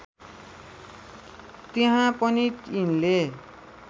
त्यहाँ पनि यिनले